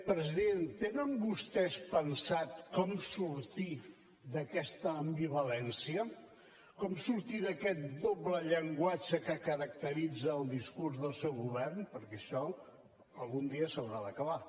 president tenen vostès pensat com sortir d’aquesta ambivalència com sortir d’aquest doble llenguatge que caracteritza el discurs del seu govern perquè això algun dia s’haurà d’acabar